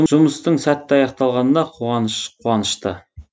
жұмыстың сәтті аяқталғанына қуаныш қуанышты